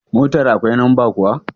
Motar akwai lamba kuwa?